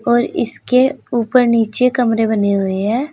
और इसके ऊपर नीचे कमरे बने हुए हैं।